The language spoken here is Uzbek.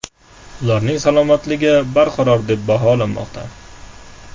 Ularning salomatligi barqaror deb baholanmoqda.